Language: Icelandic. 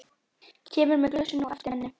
Kemur með glösin á eftir henni.